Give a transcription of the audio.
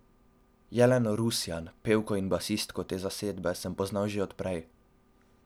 Jeleno Rusjan, pevko in basistko te zasedbe, sem poznal že od prej.